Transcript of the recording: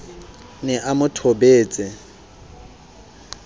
ne a mo thobetse ra